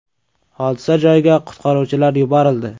Hodisa joyiga qutqaruvchilar yuborildi.